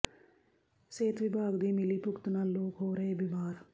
ਸਿਹਤ ਵਿਭਾਗ ਦੀ ਮਿਲੀਭੁਗਤ ਨਾਲ ਲੋਕ ਹੋ ਰਹੇ ਬੀਮਾਰ